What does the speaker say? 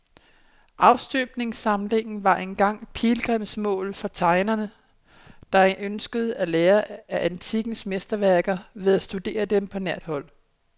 Afstøbningssamlingen var engang pilgrimsmål for tegnere, der ønskede at lære af antikkens mesterværker ved at studere dem på nært hold.